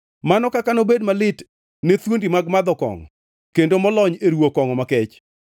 Mano kaka nobed malit ne thuondi mag madho kongʼo kendo molony e ruwo kongʼo makech.